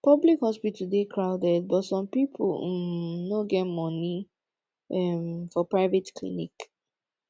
public hospital dey crowded but some pipo um no get money um for private clinic